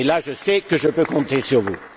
Et là, je sais que je peux compter sur vous.